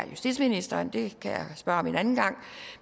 justitsministeren det kan jeg spørge om en anden gang